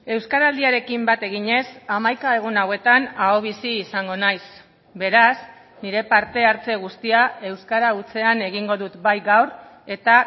euskaraldiarekin bat eginez hamaika egun hauetan ahobizi izango naiz beraz nire parte hartze guztia euskara hutsean egingo dut bai gaur eta